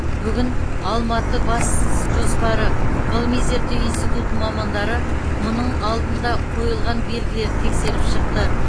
бүгін алматы бас жоспары ғылыми зерттеу институтының мамандары мұның алдында қойылған белгілерді тексеріп шықты